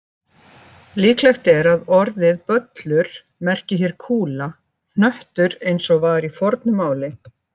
Líklegt er að orðið böllur merki hér kúla, hnöttur eins og var í fornu máli.